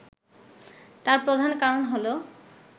তার প্রধান কারণ হলো